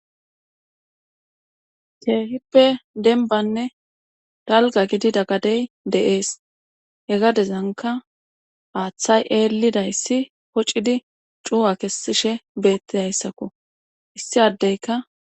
Keehippe denbanne dalga gidi daggadey de7ees hegadezanka aaththay eellidayssi poccidi cu7a kessishe beettidayssakko issi addeyka.